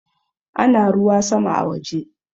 Ana ruwa sama a waje